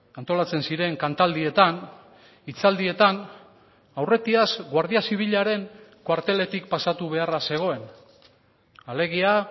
antolatzen ziren kantaldietan hitzaldietan aurretiaz guardia zibilaren kuarteletik pasatu beharra zegoen alegia